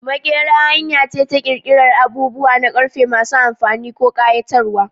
Maƙera hanya ce ta ƙirƙirar abubuwa na ƙarfe masu amfani ko ƙayatarwa.